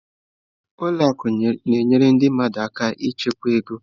Ụlọ akụ na-enyere ndị mmadụ aka ịchekwa ego.